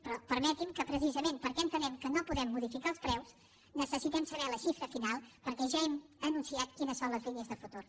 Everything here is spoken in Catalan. però permeti’m que precisament perquè entenem que no podem modificar els preus necessitem saber la xifra final perquè ja hem anunciat quines són les línies de futur